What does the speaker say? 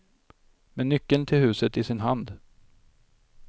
Med nyckeln till huset i sin hand.